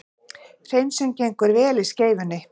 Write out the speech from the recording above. Hreinsun gengur vel í Skeifunni